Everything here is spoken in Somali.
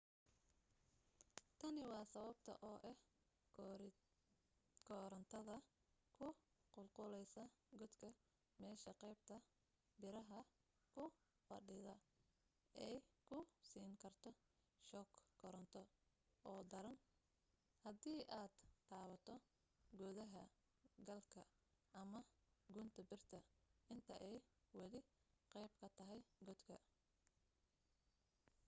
tani waa sababta oo ah korantada ku qulquleysa godka meesha qaybta biraha ku fadhida ay ku siin karto shoog koronto oo daran haddii aad taabato gudaha galka ama gunta birta inta ay wali qeyb ka tahay godka